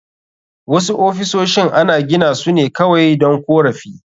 Wasu ofisoshin ana gina su ne kawai don korafi